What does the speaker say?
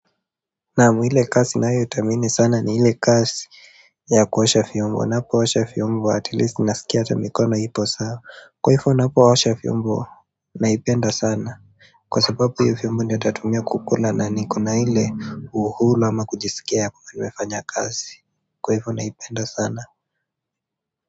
Naamu ile kazi ninayoithamini sana ni ile kazi ya kuosha vyombo ninapoosha vyombo atilisti ninasikia hata mikono ipo sawa kwa hivyo ninapoosha vyombo naipenda sana kwa sababu hivyo vyombo ndiyo nitatumia kukula na niko na ile uhuru ama kujisikia kuwa nimefanya kazi kwa hivyo naipenda sana.